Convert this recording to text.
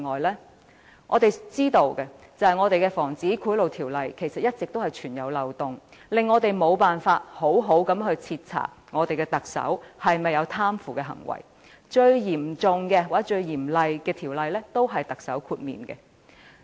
以我們所知，本港的《防止賄賂條例》一直存在漏洞，令我們無法好好徹查特首有否貪腐行為，因為規管最嚴格或嚴厲的條例，特首都可獲豁免。